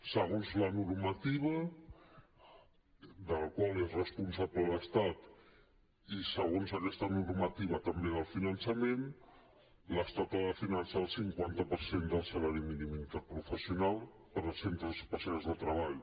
segons la normativa de la qual és responsable l’estat i segons aquesta normativa també del finançament l’estat ha de finançar el cinquanta per cent del salari mínim interprofessional per als centres especials de treball